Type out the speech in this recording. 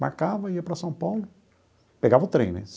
Marcava, ia para São Paulo, pegava o trem, né?